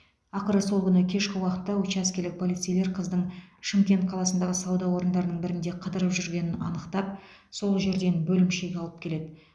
ақыры сол күні кешкі уақытта учаскелік полицейлер қыздың шымкент қаласындағы сауда орындарының бірінде қыдырып жүргенін анықтап сол жерден бөлімшеге алып келеді